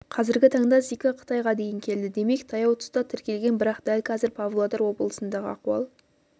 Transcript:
қазіргі таңда зика қытайға дейін келді демек таяу тұста тіркелген бірақ дәл қазір павлодар облысындағы ахуал